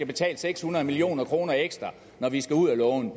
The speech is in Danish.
betale seks hundrede million kroner ekstra når vi skal ud at låne